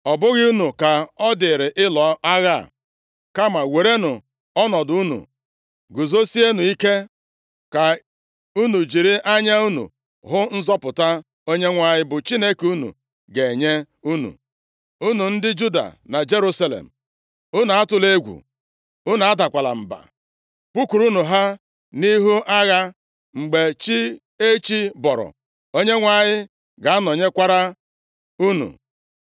Ọ bụghị unu ka ọ dịrị ịlụ agha a, kama werenụ ọnọdụ unu, guzosienụ ike ka unu jiri anya unu hụ nzọpụta Onyenwe anyị bụ Chineke unu ga-enye unu, unu ndị Juda na Jerusalem. Unu atụla egwu, unu adakwala mba. Pụkwuru ha nʼihu agha mgbe chi echi bọrọ, Onyenwe anyị ga-anọnyekwara unu.’ ”